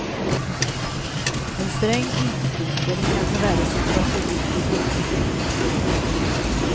En sträng isvinter kan förvärra situationen vid bron i sundet.